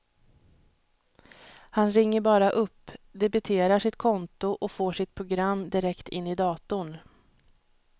Han ringer bara upp, debiterar sitt konto och får sitt program direkt in i datorn.